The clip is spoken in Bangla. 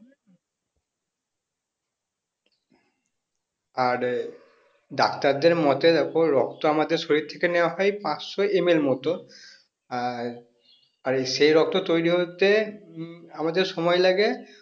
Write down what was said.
আর আহ ডাক্তারদের মতে দেখো রক্ত আমাদের শরীর থেকে নেওয়া হয় পাঁচশো ML মত আর আর এই সেই রক্ত তৈরি হতে উম আমাদের সময় লাগে